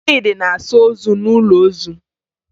Chidi na-asa ozu n'ụlọ ozu